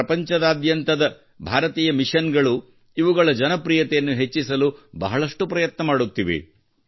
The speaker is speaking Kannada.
ಪ್ರಪಂಚದಾದ್ಯಂತದ ಭಾರತೀಯ ಮಿಷನ್ಗಳು ಇವುಗಳ ಜನಪ್ರಿಯತೆಯನ್ನು ಹೆಚ್ಚಿಸಲು ಬಹಳಷ್ಟು ಪ್ರಯತ್ನ ಮಾಡುತ್ತಿವೆ